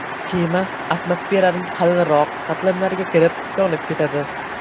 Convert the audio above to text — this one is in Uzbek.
Kema atmosferaning qalinroq qatlamlariga kirib, yonib ketadi .